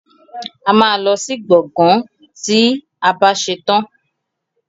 Ama ló sì gboôgan tí àbá ṣetan